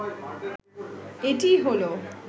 এটিই হলো